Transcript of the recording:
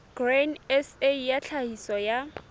grain sa ya tlhahiso ya